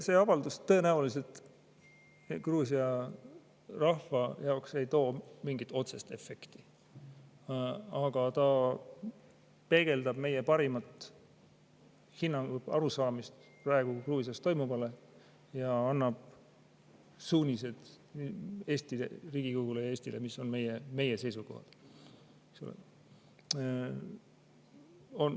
See avaldus tõenäoliselt Gruusia rahva jaoks ei too mingit otsest efekti, aga ta peegeldab meie parimat hinnangut, arusaamist praegu Gruusias toimuvast ja annab suunised Riigikogule ja Eestile, mis on meie seisukohad.